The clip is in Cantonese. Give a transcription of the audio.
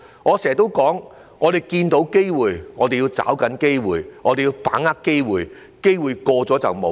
我經常說，我們看到機會，我們要抓緊機會，我們要把握機會，機會一瞬即逝。